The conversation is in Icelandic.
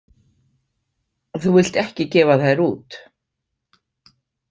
Þú vilt ekki gefa þær út